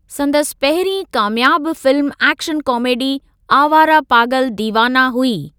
संदसि पहिरीं कामयाबु फिल्मु ऐक्शन कामेडी आवारा पागल दीवाना हुई।